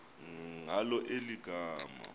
ngalo eli gama